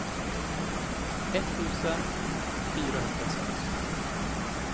etttusen fyrahundrasex